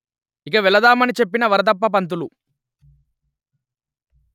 ఇక వెళదామని చెప్పిన వరదప్ప పంతులు